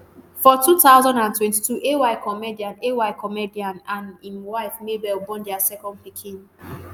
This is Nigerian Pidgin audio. for 2022 ay comedian ay comedian and im wife mabel born dia second pikin.